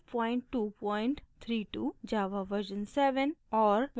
java version 7 और